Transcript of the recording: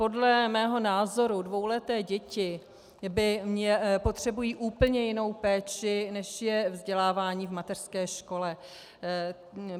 Podle mého názoru dvouleté děti potřebují úplně jinou péči, než je vzdělávání v mateřské škole.